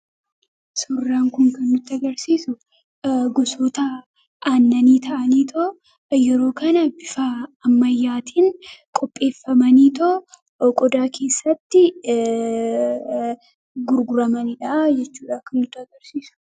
Suuraan kun kan nutti agarsiisu gosoota aannanii ta'anii yeroo kana bifa ammayyaatiin qopheeffamanii yoo qodaa keessatti gurguramaniidha.